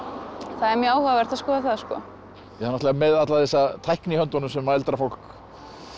það er mjög áhugavert að skoða það náttúrulega með alla þessa tækni í höndunum sem eldra fólk